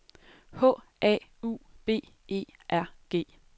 H A U B E R G